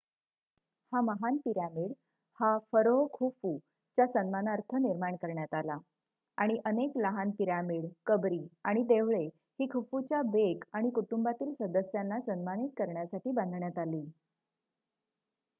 हा महान पिरॅमिड हा फरोह खुफू च्या सन्मानार्थ निर्माण करण्यात आला आणि अनेक लहान पिरॅमिड कंबरी आणि देवळे ही खुफूच्या बेक आणि कुटुंबातील सदस्याना सन्मानित करण्यासाठी बांधण्यात आली